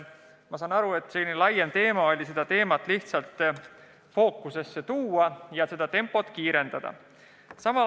Ma saan aru, et tahetakse seda teemat lihtsalt rohkem fookusesse tuua ja tegutsemise tempot kiirendada.